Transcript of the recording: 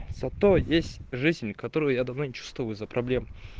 зато есть жизнь у них которую я давно не чувствую из-за проблем